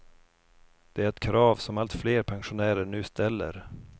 Det är ett krav som allt fler pensionärer nu ställer.